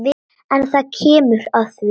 En það kemur að því.